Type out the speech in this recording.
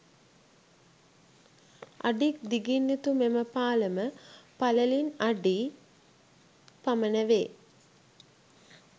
අඩික් දිගින් යුතු මෙම පාලම පළලින් අඩි . පමණ වේ